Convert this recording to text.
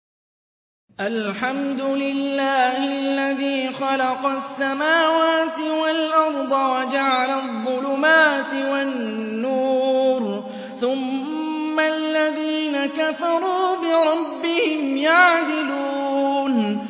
الْحَمْدُ لِلَّهِ الَّذِي خَلَقَ السَّمَاوَاتِ وَالْأَرْضَ وَجَعَلَ الظُّلُمَاتِ وَالنُّورَ ۖ ثُمَّ الَّذِينَ كَفَرُوا بِرَبِّهِمْ يَعْدِلُونَ